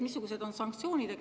Missugused on sanktsioonid?